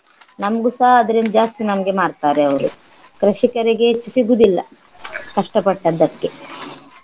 ನಮ್ಗೂಸಹ ಅದರಿಂದ ಜಾಸ್ತಿ ನಮ್ಗೆ ಮಾರ್ತಾರೆ ಅವರು ಕೃಷಿಕರಿಗೆ ಹೆಚ್ಚು ಸಿಗುದಿಲ್ಲ ಕಷ್ಟಪಟ್ಟದ್ದಕ್ಕೆ